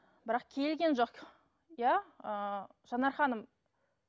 бірақ келген жоқ иә ііі жанар ханым